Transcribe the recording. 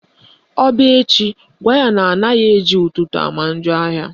Ọ bịa echi, gwa ya na anaghị eji ụtụtụ ama njọ ahịa